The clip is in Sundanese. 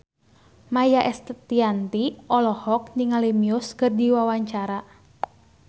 Maia Estianty olohok ningali Muse keur diwawancara